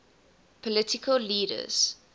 political leaders